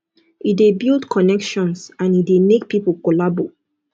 e de build connections and e de make pipo collabo